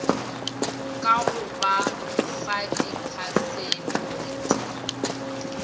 ka go ba fa diphasepote